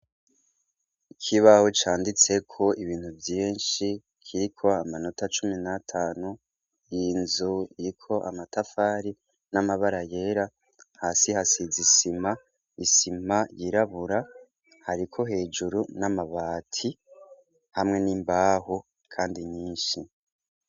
Ikibaho canditseko ibintu vyinshi kiriko amanota cumi natanu inzu iriko amatafari namabara yera hasi hasize isima isima yirabura hariko hejuru namabati hamwe nimbaho kandi nyinshi